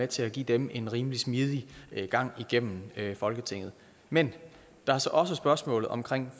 til at give dem en rimelig smidig gang igennem folketinget men der er så også spørgsmålet om